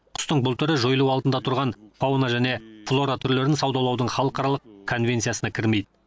құстың бұл түрі жойылу алдында тұрған фауна және флора түрлерін саудалаудың халықаралық конвенциясына кірмейді